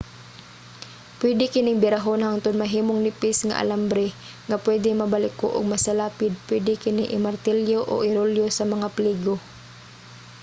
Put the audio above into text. pwede kining birahon hangtud mahimong nipis nga alambre nga pwede mabaliko ug masalapid. pwede kini i-martilyo o irolyo sa mga pligo